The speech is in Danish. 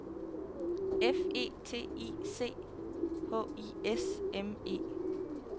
F E T I C H I S M E